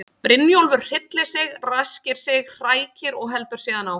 Brynjólfur hryllir sig, ræskir sig, hrækir og heldur síðan áfram.